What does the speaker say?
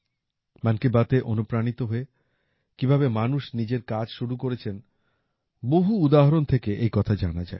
মন কী বাতে অনুপ্রাণিত হয়ে কীভাবে মানুষ নিজের কাজ শুরু করেছেন বহু উদাহরণ থেকে এই কথা জানা যায়